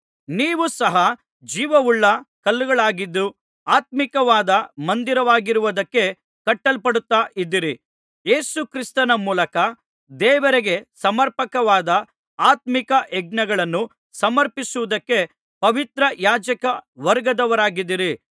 ನೀವು ಸಹ ಜೀವವುಳ್ಳ ಕಲ್ಲುಗಳಾಗಿದ್ದು ಆತ್ಮೀಕವಾದ ಮಂದಿರವಾಗುವುದಕ್ಕೆ ಕಟ್ಟಲ್ಪಡುತ್ತಾ ಇದ್ದೀರಿ ಯೇಸು ಕ್ರಿಸ್ತನ ಮೂಲಕ ದೇವರಿಗೆ ಸಮರ್ಪಕವಾದ ಆತ್ಮೀಕ ಯಜ್ಞಗಳನ್ನು ಸಮರ್ಪಿಸುವುದಕ್ಕೆ ಪವಿತ್ರ ಯಾಜಕ ವರ್ಗದವರಾಗಿದ್ದೀರಿ